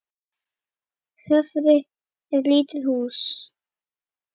Höfði er lítið hús.